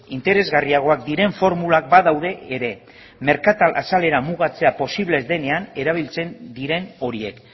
interesgarriagoak diren formulak badaude ere merkatal azalera mugatzea posible ez denean erabiltzen diren horiek